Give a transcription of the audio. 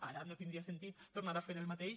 ara no tindria sentit tornar a fer el mateix